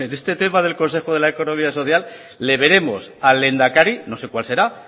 este tema del consejo de la economía social le veremos al lehendakari no sé cuál será